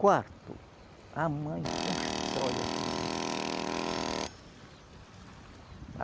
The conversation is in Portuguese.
Quarto, a mãe constrói a família.